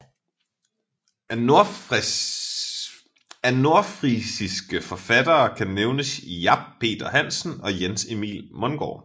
Af nordfrisiske forfattere kan nævnes Jap Peter Hansen og Jens Emil Mungard